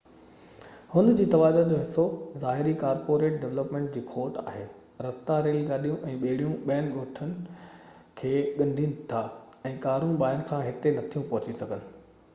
هن جي توجہ جو حصو ظاهري ڪارپوريٽ ڊولپمينٽ جي کوٽ آهي رستا ريل گاڏيون ۽ ٻيڙيون ڳوٺ کي ڳنڍين ٿا ۽ ڪارون ٻاهر کان هتي نٿيون پهچي سگهن